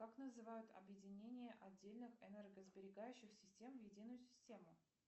как называют объединение отдельных энергосберегающих систем в единую систему